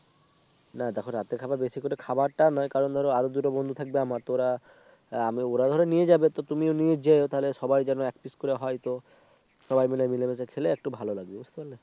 না দেখ রাতের খাবার বেশি করে খাবারটা নয় কারণ ধরো আরো দুটো বন্ধু থাকবে আমার তো ওরা আমি ওরা ধরো নিয়ে যাবে তো তুমিও নিয়ে যেও তাহলে সবাই যেন এক পিস করে হয়তো সবাই মিলে মিলেমিশে খেলে একটু ভালো। লাগবে বুঝতে পারলে